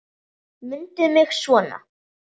Mundu mig svona.